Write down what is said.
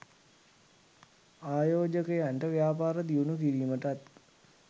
ආයෝජකයන්ට ව්‍යාපාර දියුණු කිරීමටත්